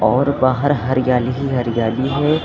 और बाहर हरियाली ही हरियाली है।